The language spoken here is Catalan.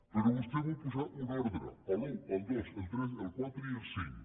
però vostè vol posar un ordre l’u el dos el tres el quatre i el cinc